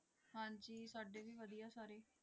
ਹਾਂਜੀ ਸਾਡੇ ਵੀ ਵਧੀਆ ਸਾਰੇ।